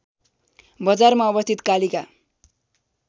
बजारमा अवस्थित कालिका